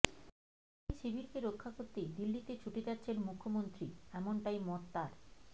আর এই শিবিরকে রক্ষা করতেই দিল্লিতে ছুটে যাচ্ছেন মুখ্যমন্ত্রী এমনটাই মত তাঁর